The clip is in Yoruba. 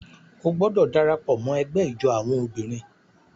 O gbọdọ darapọ̀ mọ ẹgbẹ ijó awọn obìnrin!